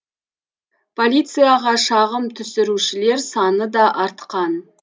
полицияға шағым түсірушілер саны да артқан